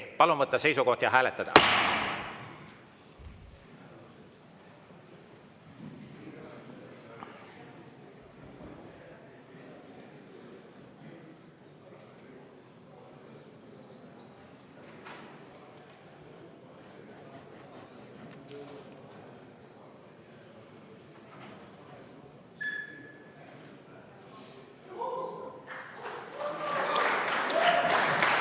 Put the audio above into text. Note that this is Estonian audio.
Palun võtta seisukoht ja hääletada!